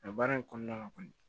Nka baara in kɔnɔna la kɔni